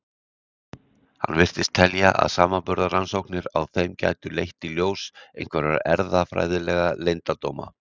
Hann virtist telja að samanburðarrannsóknir á þeim gætu leitt í ljós einhverja erfðafræðilega leyndardóma.